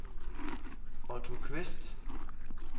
Otto Qvist